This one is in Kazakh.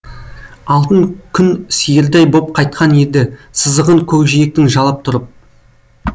алтын күн сиырдай боп қайтқан еді сызығын көкжиектің жалап тұрып